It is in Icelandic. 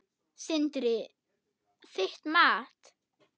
Sindri: Þitt mat?